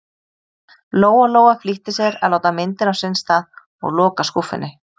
Lóa-Lóa flýtti sér að láta myndina á sinn stað og loka skúffunni.